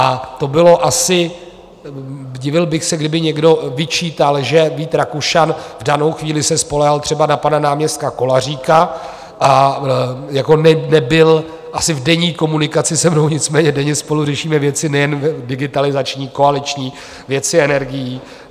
A to bylo asi - divil bych se, kdyby někdo vyčítal, že Vít Rakušan v danou chvíli se spoléhal třeba na pana náměstka Kolaříka a nebyl asi v denní komunikaci se mnou, nicméně denně spolu řešíme věci nejen digitalizační, koaliční, věci energií.